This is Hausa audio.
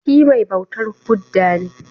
Shi mai bautar Buddha ne?